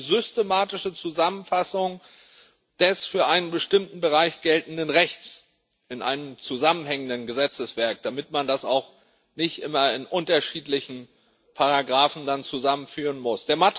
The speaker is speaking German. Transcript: Das heißt, eine systematische Zusammenfassung des für einen bestimmten Bereich geltenden Rechts in einem zusammenhängenden Gesetzeswerk, damit man das auch nicht immer in unterschiedlichen Paragraphen zusammenführen muss.